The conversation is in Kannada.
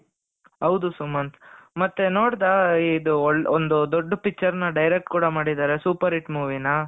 ಹೌದು ಸುಮಂತ್ ಮತ್ತೆ ನೋಡ್ದಾ ಇದು ಒಂದು ದೊಡ್ಡ picture ನ್ direct ಕೂಡ ಮಾಡಿದ್ದಾರೆ super hit movie ನ,